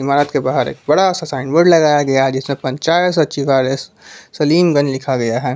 इमारत के बाहर एक बड़ा साइन बोर्ड लगाया गया है जिसमें पंचायत सचिवालय सलीमगंज लिखा गया है।